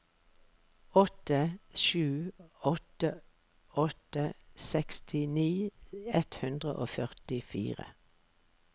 åtte sju åtte åtte sekstini ett hundre og førtifire